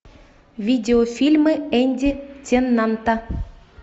видеофильмы энди теннанта